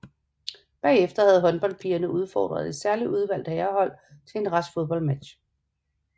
Bagefter havde håndholdpigerne udfordret et særligt udvalgt herrehold til en rask fodboldmatch